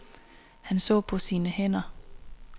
Han så på sine hænder.